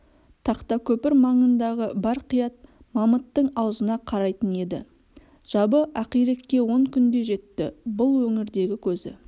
тақтакөпір маңындағы бар қият мамыттың аузына қарайтын еді жабы ақирекке он күнде жетті бұл өңірдегі көзі